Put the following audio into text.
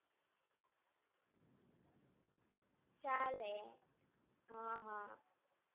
ચાલે. હા હા.